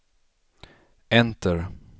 enter